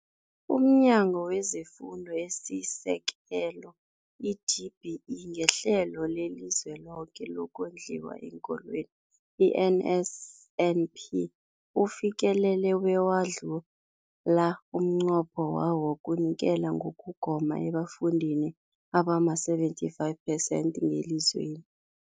UmNyango wezeFundo esiSekelo, i-DBE, ngeHlelo leliZweloke lokoNdliwa eenKolweni, i-NSNP, ufikelele bewadlula umnqopho wawo wokunikela ngokugoma ebafundini abama-75 phesenthi ngelizweni.